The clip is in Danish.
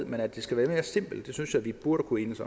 men at det skal være mere simpelt synes jeg vi burde kunne enes